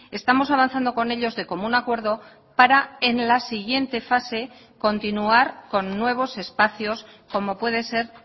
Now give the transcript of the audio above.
estamos avanzando con ellos de común acuerdo para en la siguiente fase continuar con nuevos espacios como puede ser